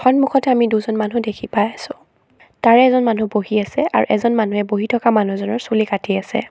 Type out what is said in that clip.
সন্মুখত আমি দুজন মানুহ দেখি পাই আছো তাৰে এজন মানুহ বহি আছে আৰু এজন মানুহে বহি থকা মানুহজনৰ চুলি কাটি আছে।